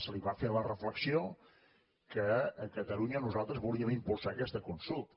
se li va fer la reflexió que a catalunya nosaltres volíem impulsar aquesta consulta